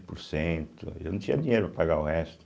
Por cento. E eu não tinha dinheiro para pagar o resto.